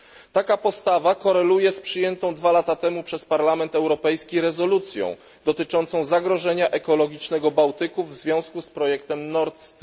Taka postawa koreluje z przyjętą dwa lata temu przez Parlament Europejski rezolucją dotyczącą zagrożenia ekologicznego dla Bałtyku w związku z projektem Nordstream.